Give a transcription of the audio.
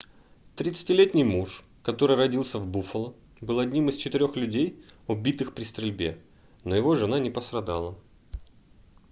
30-ти летний муж который родился в буффало был одним из четырёх людей убитых при стрельбе но его жена не пострадала